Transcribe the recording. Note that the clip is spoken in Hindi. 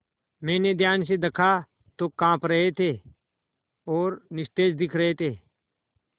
मैंने ध्यान से दखा तो वे काँप रहे थे और निस्तेज दिख रहे थे